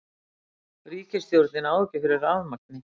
Ríkisstjórnin á ekki fyrir rafmagni